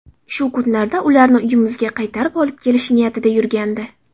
Shu kunlarda ularni uyimizga qaytarib olib kelish niyatida yurgandi.